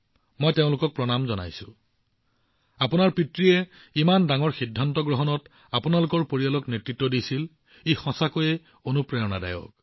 মই তেওঁলোকক অভিবাদন জনাইছো আপোনাৰ দেউতাই আপোনাৰ পৰিয়ালৰ সদস্যসকলক ইমান ডাঙৰ সিদ্ধান্তত নেতৃত্ব দিছিল ই সঁচাকৈয়ে অতি অনুপ্ৰেৰণাদায়ক